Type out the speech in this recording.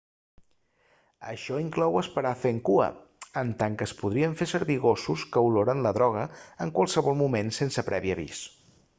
això inclou esperar fent cua en tant que es podrien fer servir gossos que oloren la droga en qualsevol moment sense previ avís